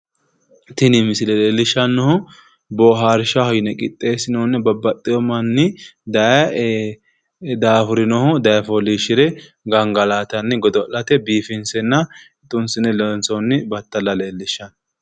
Tini misile leellishshannohu boohaarshaho yine qixxeessinoonni babbaxxiwo manni daye daafurinohu daye fooliishshire gangalaatanni godo'late biifinsenna xunsine loonsoonni battala leellishshanno.